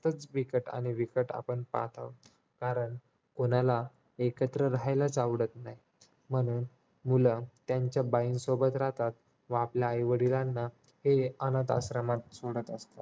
जरा बिकट आणि बिकट आपण पाहत आहोत कारण कोणाला एकत्र राहायलाच आवडत नाही म्हणून मुलं त्यांच्या बाईंन सोबत राहतात व आपल्या आई वडिलांना ते अनाथाश्रमात सोडत असतात